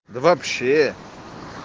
да вообще